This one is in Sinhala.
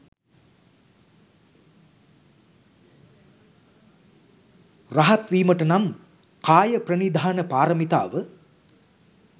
රහත්වීමට නම් කායප්‍රනිධාන පාරමිතාව